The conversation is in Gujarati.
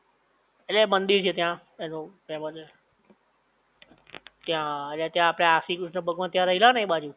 ઍટલે એ મંદિર છે ત્યાં એનું ત્યાં અને ત્યાં આપડે આ શ્રી કૃષ્ણ ભગવાન ત્યાં રયેલા ને એ બાજુ